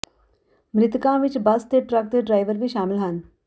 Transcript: ਮ੍ਰਿਤਕਾਂ ਵਿੱਚ ਬੱਸ ਤੇ ਟਰੱਕ ਦੇ ਡਰਾਈਵਰ ਵੀ ਸ਼ਾਮਲ ਹਨ